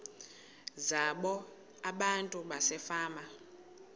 zabo abantu basefama